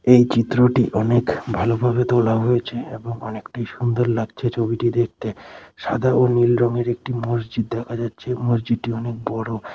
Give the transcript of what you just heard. এই চিত্রটি অনেক ভালোভাবে তোলা হয়েছে এবং অনেকটাই সুন্দর লাগছে ছবিটি দেখতে সাদা ও নীল রঙের একটি মসজিদ দেখা যাচ্ছে মসজিদটি অনেক বড়।